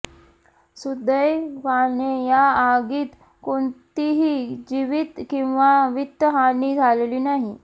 सुदैवाने या आगीत कोणतीही जीवित किंवा वित्तहानी झालेली नाही